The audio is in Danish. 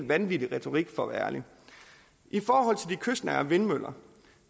vanvittig retorik for at være ærlig i forhold til de kystnære vindmøller